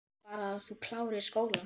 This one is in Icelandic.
Ég vil bara að þú klárir skólann